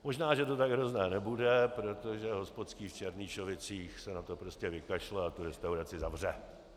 Možná že to tak hrozné nebude, protože hospodský v Černýšovicích se na to prostě vykašle a tu restauraci zavře.